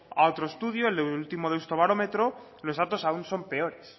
a otro estudio el último de euskobarómetro los datos aún son peores